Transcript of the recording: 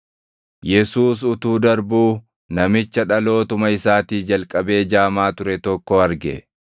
Yesuus utuu darbuu namicha dhalootuma isaatii jalqabee jaamaa ture tokko arge.